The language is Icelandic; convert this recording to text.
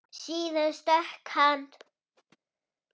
Síðan stökk hann.